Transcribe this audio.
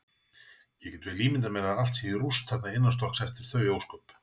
Ég get vel ímyndað mér að allt sé í rúst þarna innanstokks eftir þau ósköp.